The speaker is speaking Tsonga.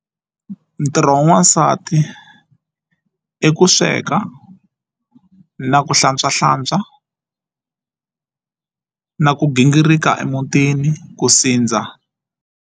Ntirho wa n'wansati i ku sweka na ku hlantswahlantswa na ku gingirika emutini ku sindza.